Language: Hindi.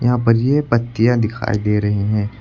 यहां पर यह पत्तियां दिखाई दे रही हैं।